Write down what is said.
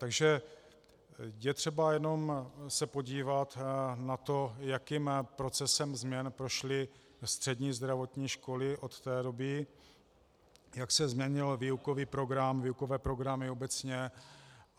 Takže je třeba jenom se podívat na to, jakým procesem změn prošly střední zdravotní školy od té doby, jak se změnil výukový program, výukové programy obecně.